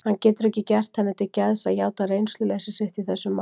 Hann getur ekki gert henni til geðs að játa reynsluleysi sitt í þessum málum.